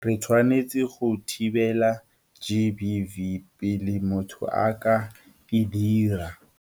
Re tshwanetse go thibela GBV pele motho a ka e dira.